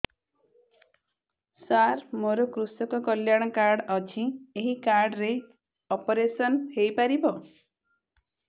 ସାର ମୋର କୃଷକ କଲ୍ୟାଣ କାର୍ଡ ଅଛି ଏହି କାର୍ଡ ରେ ଅପେରସନ ହେଇପାରିବ